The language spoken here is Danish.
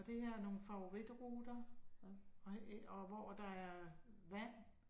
Og det her er nogen favoritruter, og æh hvor der er vand